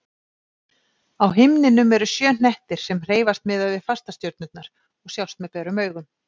Á himninum eru sjö hnettir sem hreyfast miðað við fastastjörnurnar og sjást með berum augum.